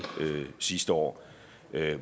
sidste år